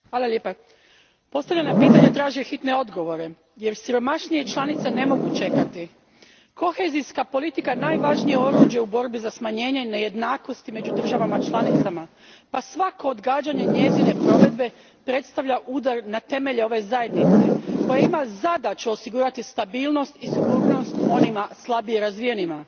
Gospodine predsjedniče, postavljena pitanja traže hitne odgovore jer siromašnije članice ne mogu čekati. Kohezijska politika najvažnije je oruđe u borbi za smanjenje nejednakosti među državama članicama pa svako odgađanje njezine provedbe predstavlja udar na temelje ove zajednice koja ima zadaću osigurati stabilnost i sigurnost onima slabije razvijenima.